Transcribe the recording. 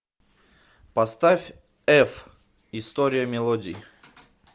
поставь эф история мелодий